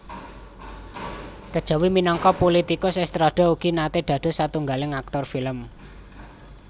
Kejawi minangka pulitikus Estrada ugi naté dados satunggaling aktor film